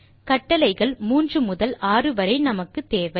கட்டளைகள் மூன்று முதல் ஆறு வரை நமக்குத் தேவை